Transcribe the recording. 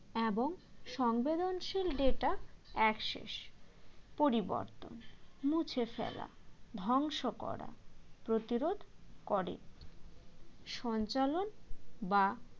এবং সংবেদনশীল data access পরিবর্তন মুছে ফেলা ধ্বংস করা প্রতিরোধ করে সঞ্চালন বা